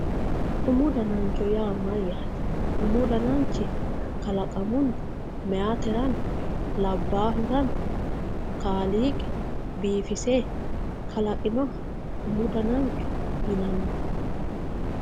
umu danancho yaa mayyaate umu dananchi kalaqamunni meyaaterano labbaahurano kaaliiqi biifise kalaqinoha umu danancho yinanni.